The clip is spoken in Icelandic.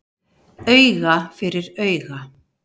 Auga fyrir auga